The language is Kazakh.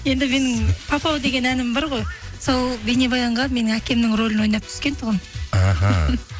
енді менің папау деген әнім бар ғой сол бейнебаянға менің әкемнің рөлін ойнап түскен тұғын іхі